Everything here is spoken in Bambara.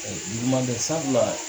Ɛɛ juguman tɛ sabula